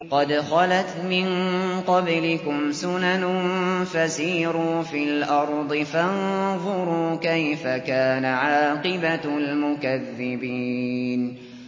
قَدْ خَلَتْ مِن قَبْلِكُمْ سُنَنٌ فَسِيرُوا فِي الْأَرْضِ فَانظُرُوا كَيْفَ كَانَ عَاقِبَةُ الْمُكَذِّبِينَ